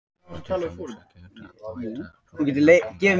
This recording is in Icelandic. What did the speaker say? Það er til dæmis ekki unnt að bæta brotinn handlegg með þessum hætti.